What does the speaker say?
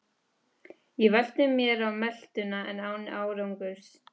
Ég velti mér á meltuna en án árangurs.